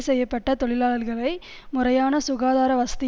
செய்ய பட்ட தொழிலாளர்களை முறையான சுகாதார வசதி